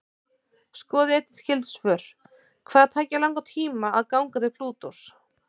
Skoðið einnig skyld svör: Hvað tæki langan tíma að ganga til Plútós?